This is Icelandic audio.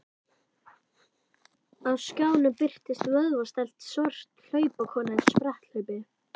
Á skjánum birtist vöðvastælt svört hlaupakona í spretthlaupi.